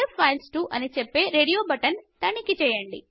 save files to అని చెప్పే radio button తనిఖి చేయండి